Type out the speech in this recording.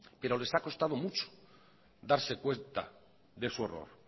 pero les ha costado mucho darse cuenta de su error